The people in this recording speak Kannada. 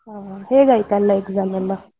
ಹಾ, ಹೇಗ್ ಆಯ್ತ್ ಎಲ್ಲ exam ಎಲ್ಲ?